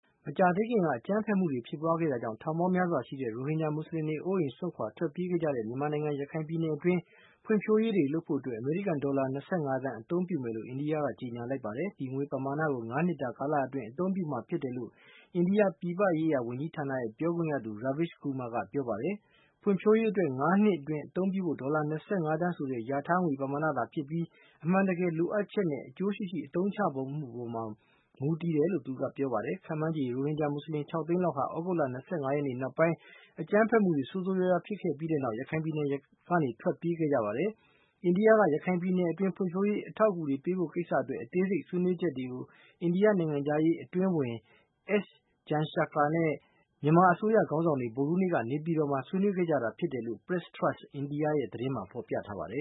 မကြာသေးခင်က အကြမ်းဖက်မှုတွေဖြစ်ပွားခဲ့တာကြောင့် ထောင်ပေါင်းများစွာရှိတဲ့ ရိုဟင်ဂျာ မွတ်ဆလင်တွေ အိုးအိမ်စွန့်ခွာ ထွက်ပြေးခဲ့ကြရတဲ့ မြန်မာနိုင်ငံ ရခိုင်ပြည်နယ် အတွင်းမှာ ဖွံ့ဖြိုးရေးတွေလုပ်ဖို့အတွက် အမေရိကန် ဒေါ်လာ ၂၅ သန်း အသုံးပြုမယ်လို့ အိန္ဒိယက ကြေညာလိုက်ပါတယ်။ ဒီငွေပမာဏကို ၅ နှစ် တာ ကာလ အတွင်းအသုံးပြုမှာ ဖြစ်တယ်လို့ အိန္ဒိယပြည်ပရေးရာ ဝန်ကြီးဌာန ပြောခွင့်ရသူ Raveesh Kumar ကပြောပါတယ်။ ဖွံ့ဖြိုးရေးအတွက် ၅ နှစ်အတွင်းအသုံးပြုဖို့ ဒေါ်လာ ၂၅ သန်းဆိုတာ ရာထားတဲ့ ငွေပမာဏသာဖြစ်ပြီး အမှန်တကယ်လိုအပ်ချက်နဲ့ အကျိုးရှိရှိ အသုံးချမှုအပေါ်မှာ မူတည်ပါတယ်လို့ သူကပြောပါတယ်။ ခန့်မှန်းခြေ ရိုဟင်ဂျာ မွတ်ဆလင် ၆ သိန်းလောက်ဟာ သြဂုတ်လ ၂၅ ရက်နောက်ပိုင်း အကြမ်းဖက်မှုတွေ ဆိုးဆိုးရွားရွား ဖြစ်ပွားခဲ့ပြီးနောက် မြန်မာနိုင်ငံ ရခိုင်ပြည်နယ်ကနေ ထွက်ပြေးခဲ့ကြပါတယ်။ အိန္ဒိယက ရခိုင်ပြည်နယ်အတွင်း ဖွံ့ဖြိုးရေး အထောက်အကူတွေပေးဖို့ကိစ္စ အတွက် အသေးစိတ်အချက်တွေကို အိန္ဒိယနိုင်ငံခြားရေး အတွင်းဝန် S Jaishankar နဲ့ မြန်မာအစိုးရ ခေါင်းဆောင်တွေ ဗုဒ္ဓဟူးနေ့က နေပြည်တော်မှာ ဆွေးနွေးခဲ့ကြတာဖြစ်တယ်လို့ Press Trust India ရဲ့ သတင်းမှာ ဖေါ်ပြထားပါတယ